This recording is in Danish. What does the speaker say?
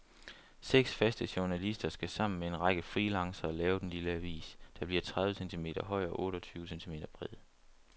Seks faste journalister skal sammen med en række freelancere lave den lille avis, der bliver tredive centimeter høj og otte og tyve centimeter bred.